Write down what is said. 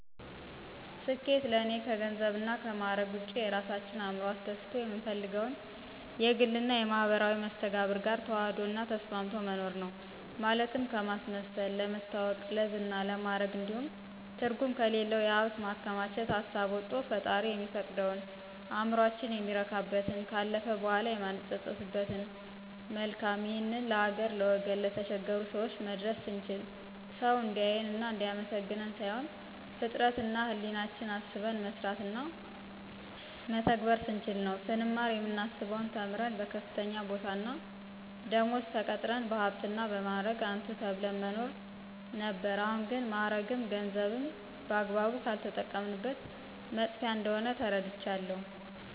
ስኬት ለእኔ ከገንዘብና ከማዕረግ ውጭ የራሳችን እዕምሮ አስደስቶ የምንፈልገውን የግልና የማህበራዊ መስተጋብር ጋር ተዋህዶ እና ተስማምቶ መኖር ነው። ማለትም ከማስመሰል፣ ለመታወቅ፣ ለዝና፣ ለማዕረግ እንዲሁም ትርጉም ከሌለው የሀብት ማከማቸት ሀሳብ ወቶ ፈጣሪ የሚፈቅደውን፣ እዕምሮአችን የሚረካበትን፣ ካለፈ በኋላ የማንጸጸትበትን መልካም ይህን ለሀገር፣ ለወገን፣ ለተቸገሩ ሰወች መድረስ ስንችል፣ ሰውን እንዲአየን እና እንዲአመሰግነን ሳይሆን ፍጥረት እና ህሌናችን አስበን መስራትና ምንስ ስንችል ነው። ስንማር የምናስበው ተምረን በከፍተኛ ቦታና ደመወዝ ተቀጥረን በሀብትና እና በማዕረግ አንቱ ተብለን መኖር ነበር አሁን ግን ማዕረግም ገንዘብም በአግባቡ ካልተጠቀምንበት መጥፊያ እንደሆነ ተረድቻለሁ።